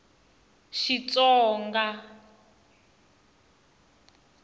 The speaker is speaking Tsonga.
xitsonga